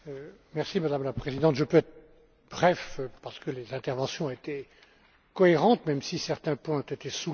Madame la Présidente, je peux être bref, parce que les interventions ont été cohérentes, même si certains points ont été soulevés.